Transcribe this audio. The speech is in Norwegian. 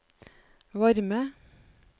varme